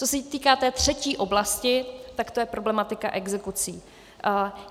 Co se týká té třetí oblasti, tak to je problematika exekucí.